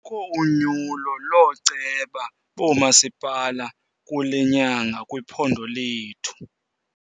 Kukho unyulo looceba boomasipala kule nyanga kwiphondo lethu.